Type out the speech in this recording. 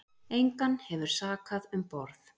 Engan hefur sakað um borð